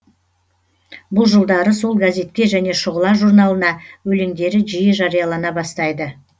бұл жылдары сол газетке және шұғыла журналына өлеңдері жиі жариялана бастайды